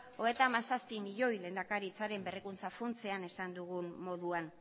hogeita hamazazpi milioi lehendakaritzaren berrikuntza funtsean esan dugun moduan